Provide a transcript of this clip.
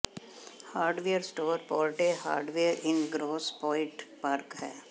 hardware store Porte hardware in Grosse Pointe Park ਹੈ